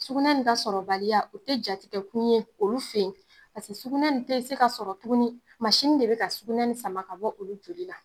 Sugunɛ nin ka sɔrɔbaliya o tɛ jatigɛ kun ye olu fen ye pase sugunɛ nin tee se ka sɔrɔ tuguni, de be ka sugunɛ nin sama ka bɔ olu joli la.